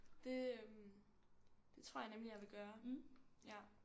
Det øh det tror jeg nemlig jeg vil gøre ja